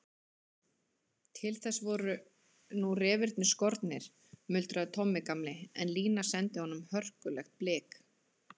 Til þess voru nú refirnir skornir, muldraði Tommi gamli, en Lína sendi honum hörkulegt blik.